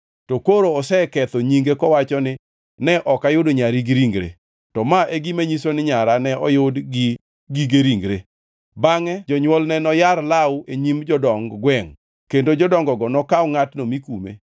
To koro oseketho nyinge kowacho ni, ‘Ne ok ayudo nyari gi ringre.’ To ma e gima nyiso ni nyara ne oyud gi gige ringre.” Bangʼe jonywolne noyar law e nyim jodong gwengʼ,